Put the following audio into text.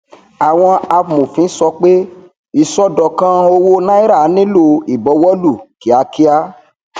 àwọn amòfin sọ pé ìṣọdọkan owó nàírà nilo ìbọwọ lù kíákíá